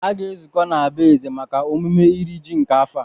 Aga-ezukọ na be eze maka emume iri ji nke afọ a